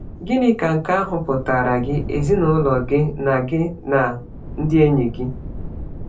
Gịnị ka nke ahụ pụtaara gị, ezinụlọ gị, na gị, na ndị enyi gị?